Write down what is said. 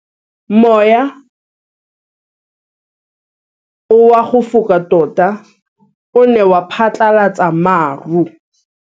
Mowa o wa go foka tota o ne wa phatlalatsa maru.